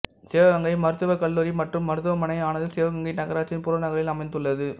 சிவகங்கை மருத்துவக் கல்லூரி மற்றும் மருத்துவமனை ஆனது சிவகங்கை நகராட்சியின் புறநகரில் அமைந்துள்ளது